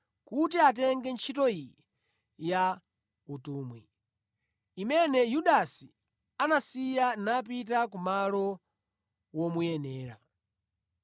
kuti atenge ntchito iyi ya utumwi, imene Yudasi anasiya napita kumalo womuyenera.”